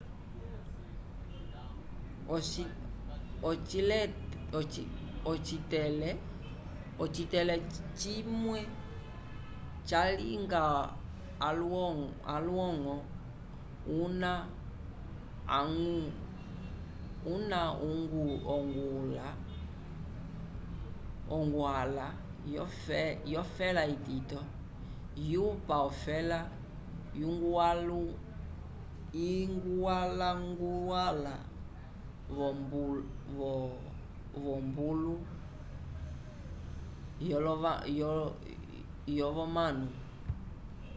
ocitele cimwe salinga olwongo una uguhala yo fela itito yupa ofela iguhwalanguhala vobulo lovonano